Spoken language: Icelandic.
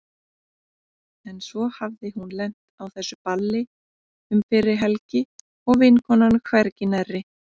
En svo hafði hún lent á þessu balli um fyrri helgi og vinkonan hvergi nærri.